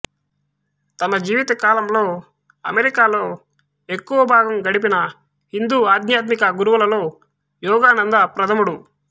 తమ జీవిత కాలంలో అమెరికాలో ఎక్కువ భాగం గడిపిన హిందూ ఆధ్యాత్మిక గురువుల్లో యోగానంద ప్రథముడు